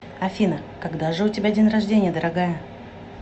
афина когда же у тебя день рождения дорогая